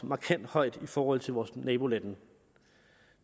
markant høj i forhold til vores nabolande